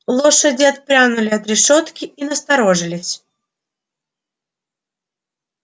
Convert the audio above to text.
лошади отпрянули от решётки и насторожились